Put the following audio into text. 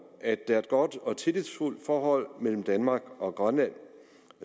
at der er et godt og tillidsfuldt forhold mellem danmark og grønland